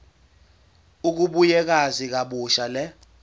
ukubuyekeza kabusha le